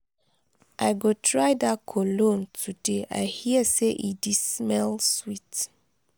i go try dat cologne today; i hear say e di smell sweet.